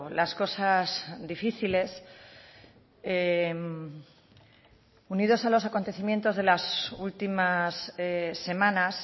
las cosas difíciles unidos a los acontecimientos de las últimas semanas